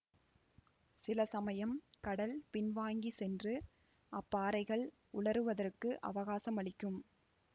சில சமயம் கடல் பின்வாங்கிச் சென்று அப்பாறைகள் உலருவதற்கு அவகாசம் அளிக்கும்